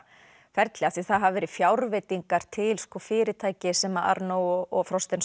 ferli af því það hafa verið fjárveitingar til fyrirtækis sem Arnault og